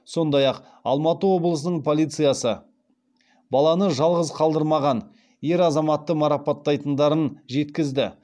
сондай ақ алматы облысының полициясы баланы жалғыз қалдырмаған ер азаматты марапаттайтындарын жеткізді